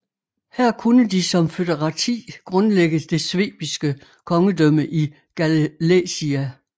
Her kunne de som foederati grundlægge det svebiske kongedømme i Gallaecia